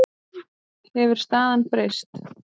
Hefur staðan breyst?